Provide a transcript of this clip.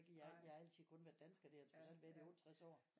Jeg har altid kun været dansker det har jeg trods alt i 68 år